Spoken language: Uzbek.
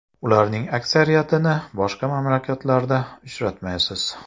Ularning aksariyatini boshqa mamlakatlarda uchratmaysiz.